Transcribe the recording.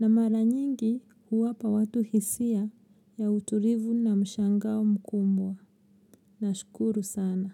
na maranyingi huwapa watu hisia ya uturivu na mshangao mkumbwa. Nashukuru sana.